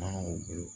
Mankanw bolo